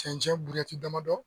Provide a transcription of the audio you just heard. Cɛncɛn burɛti damadɔ.